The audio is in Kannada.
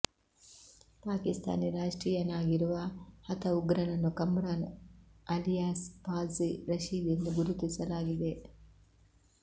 ಪಾಕಿಸ್ತಾನಿ ರಾಷ್ಟ್ರೀಯನಾಗಿರುವ ಹತ ಉಗ್ರನನ್ನು ಕಮ್ರಾನ್ ಆಲಿಯಾಸ್ ಘಾಝಿ ರಶೀದ್ ಎಂದು ಗುರುತಿಸಲಾಗಿದೆ